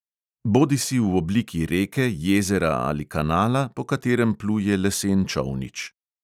Bodisi v obliki reke, jezera ali kanala, po katerem pluje lesen čolnič.